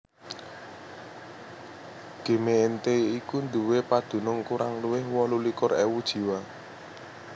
Gemeente iku nduwé padunung kurang luwih wolu likur ewu jiwa